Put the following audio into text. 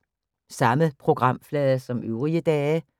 Samme programflade som øvrige dage